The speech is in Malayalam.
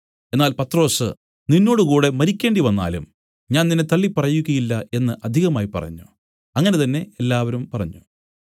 എന്നാൽ പത്രൊസ് നിന്നോടുകൂടെ മരിക്കേണ്ടിവന്നാലും ഞാൻ നിന്നെ തള്ളിപ്പറകയില്ല എന്നു അധികമായി പറഞ്ഞു അങ്ങനെ തന്നെ എല്ലാവരും പറഞ്ഞു